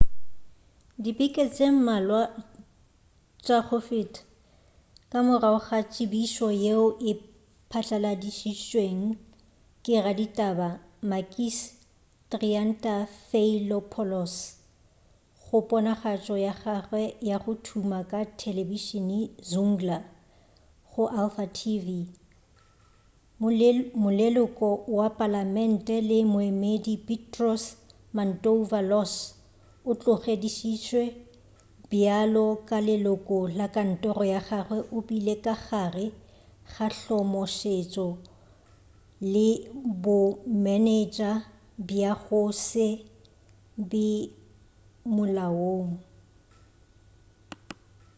dibeke tše mmalwa tša go feta ka morago ga tsebišo yeo e patlaladitšwego ke raditaba makis triantafylopoulos go ponagatšo ya gagwe ya go thuma ya telebišene zoungla go alpha tv moleloko wa palamente le moemedi petros mantouvalos o tlogedišišwe bjalo ka leloko la kantoro ya gagwe o bile ka gare ga hlomosetšo le bomenetša bja go se be molaong